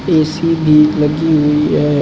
AC भी लगी हुई है।